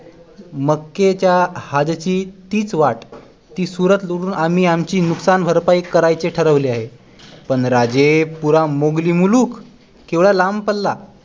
मक्केच्या हाजची तीच वाट जी सुरत वरून आमी आमची नुकसानभरपाई करायचे ठरवले आहे पण राजे पुरा मुघली मुलुख केवढा लांब पल्ला